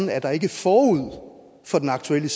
at der ikke forud for den aktuelle